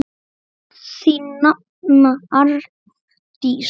Þín nafna, Arndís.